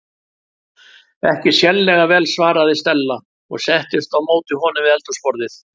Ekki sérlega vel- svaraði Stella og settist á móti honum við eldhúsborðið.